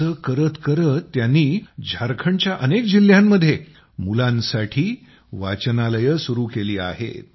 असं करत करत त्यांनी झारखंडच्या अनेक जिल्ह्यांमध्ये मुलांसाठी वाचनालयं सुरू केली आहेत